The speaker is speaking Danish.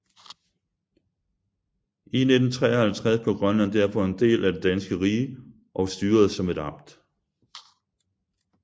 I 1953 blev Grønland derfor en del af det danske rige og styredes som et amt